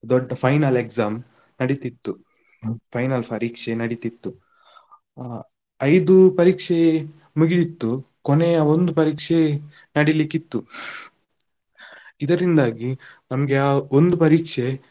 ದೊಡ್ಡ final exam ನಡಿತಿತ್ತು, ಹ್ಮ್ final ಪರೀಕ್ಷೆ ನಡಿತಿತ್ತು. ಆ ಐದು ಪರೀಕ್ಷೆ ಮುಗಿದಿತ್ತು, ಕೊನೆಯ ಒಂದು ಪರೀಕ್ಷೆ ನಡಿಲಿಕ್ಕಿತ್ತು ಇದರಿಂದಾಗಿ ನಮ್ಗೆ ಆ ಒಂದು ಪರೀಕ್ಷೆ.